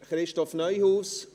Christoph Neuhaus?